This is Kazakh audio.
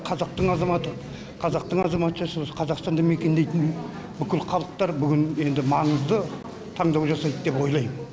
қазақтың азаматы қазақтың азаматшасы қазақстанды мекендейтін бүкіл халықтар бүгін енді маңызды таңдау жасайды деп ойлайм